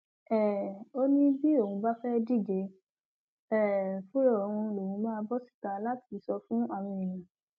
um ó ní bí òun bá fẹẹ díje um fúnra òun lòún máa bọ síta láti sọ fún àwọn èèyàn